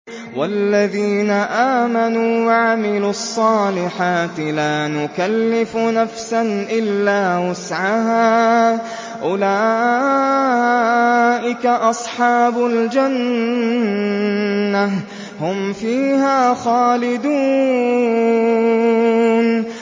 وَالَّذِينَ آمَنُوا وَعَمِلُوا الصَّالِحَاتِ لَا نُكَلِّفُ نَفْسًا إِلَّا وُسْعَهَا أُولَٰئِكَ أَصْحَابُ الْجَنَّةِ ۖ هُمْ فِيهَا خَالِدُونَ